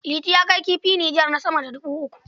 Liti yana kai kifi Nijar na sama da dubu uku.